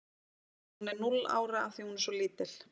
Hún er núll ára af því að hún er svo lítil.